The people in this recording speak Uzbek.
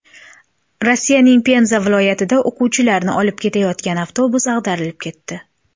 Rossiyaning Penza viloyatida o‘quvchilarni olib ketayotgan avtobus ag‘darilib ketdi.